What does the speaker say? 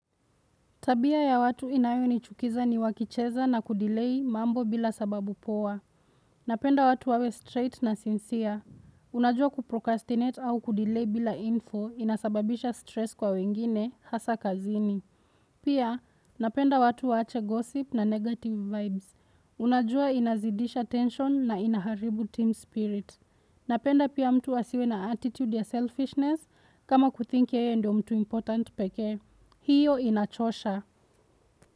Tabia ya watu inayonichukiza ni wakicheza na kudilei mambo bila sababu poa. Napenda watu wawe straight na sincere. Unajua kuprocastinate au kudilei bila info inasababisha stress kwa wengine hasa kazini. Pia, napenda watu waache gossip na negative vibes. Unajua inazidisha tension na inaharibu team spirit. Napenda pia mtu wasiwe na attitude ya selfishness kama kuthinki yeye ndio mtu important pekee. Hiyo inachosha.